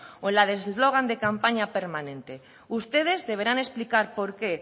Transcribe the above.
o en la de eslogan de campaña permanente ustedes deberán explicar por qué